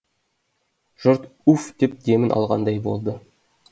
жұрт уф деп демін алғандай болды